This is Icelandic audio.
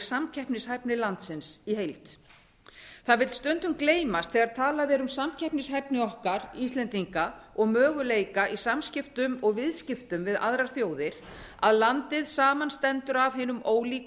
samkeppnishæfni landsins í heild það vill stundum gleymast þegar talað er um samkeppnishæfni okkar íslendinga og möguleika í samskiptum og viðskiptum við aðrar þjóðir að landið samanstendur af hinum ólíku